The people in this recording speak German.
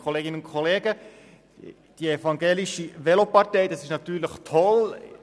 Die evangelische Velopartei – das ist natürlich toll.